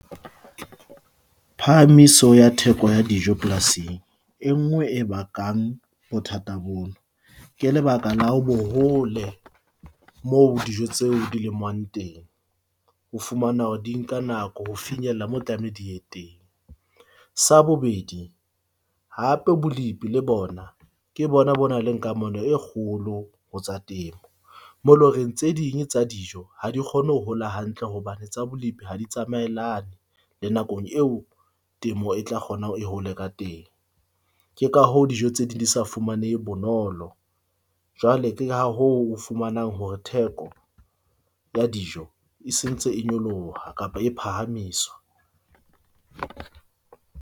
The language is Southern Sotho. Phahamiso ya theko ya dijo polasing e nngwe e bakang bothata bono ke lebaka la ho bo hole moo dijo tseo di lemuwang teng. Ho fumana hore di nka nako ho finyella moo tlameha di ye teng. Sa bobedi hape bolipi le bona ke bona bo na le kamano e kgolo ho tsa temo moo e leng horeng tse ding tsa dijo ha di kgone ho hola hantle hobane tsa bolipi ha di tsamaellane le nakong eo temo e tla kgona hore e hole ka teng. Ke ka hoo dijo tse ding di sa fumanehe bonolo. Jwale ke ha ho o fumanang hore theko ya dijo e sentse, e nyoloha kapa e phahamiswa.